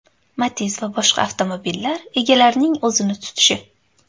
Matiz va boshqa avtomobillar egalarining o‘zini tutishi.